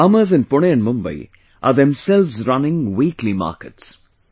Farmers in Pune and Mumbai are themselves running weekly markets